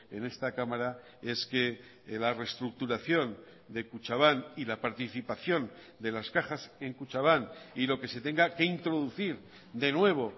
en esta cámara es que la reestructuración de kutxabank y la participación de las cajas en kutxabank y lo que se tenga que introducir de nuevo